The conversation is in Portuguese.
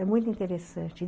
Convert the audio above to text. É muito interessante.